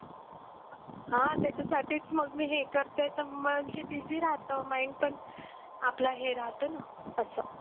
हा त्याच्यासाठीच मग मी हे करते तर म्हणजे busy राहतो mind पण आपला हे राहतो ना असं.